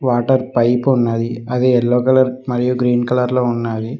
Water pipe ఉన్నది అది yellow colour మరియు గ్రీన్ కలర్ లో ఉన్నావి.